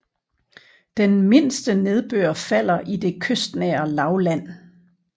Den mindste nedbør falder i det kystnære lavland